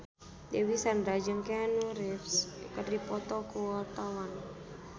Dewi Sandra jeung Keanu Reeves keur dipoto ku wartawan